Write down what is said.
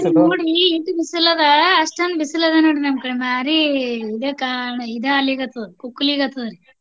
ಈಕಡೆ ನೋಡ್ರಿ ಎಷ್ಟು ಬಿಸಿಲು ಅದೆ ಅಷ್ಟೊಂದು ಬಿಸಿಲು ಅದೆ ನೋಡ್ರಿ ನಮ್ಮ ಕಡೆ ಭಾರಿ ಇದ ಆಗ್ಲಿಕತ್ತದ ಕುಕ್ಲಿಕತ್ತದ ರಿ.